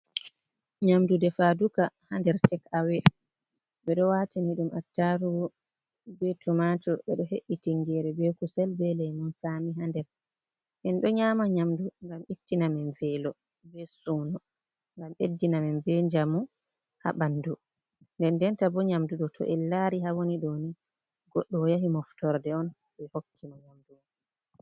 Nyamdu defaduka ha nder tekawe ɓe ɗo watini ɗum attarugu, be tumatu, ɓe do he’i tingere be kusel, be leymon sami ha nder en ɗo nyama nyamdu gam ittina men velo be sunu ngam beddina men be jamu ha ɓandu nde denta bo nyamdu ɗo to en lari, doni goddo o yahi moftorde on be hokki mo nyamdu.